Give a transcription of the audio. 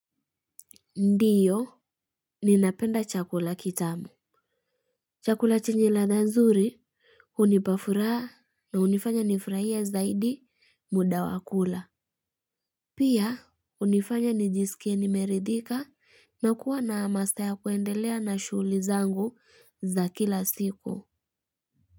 Ndiyo, ninapenda chakula kitamu. Chakula chenye ladha nzuri, hunipa furaha na hunifanya nifurahie zaidi muda wa kula. Pia, hunifanya nijisikie nimeridhika na kuwa na amasta ya kuendelea na shughuli zangu za kila siku.